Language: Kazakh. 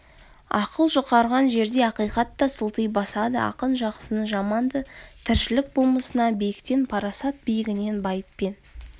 ақыл жұқарған жерде ақиқат та сылти басады ақын жақсыны жаманды тіршілік болмысына биіктен парасат биігінен байыппен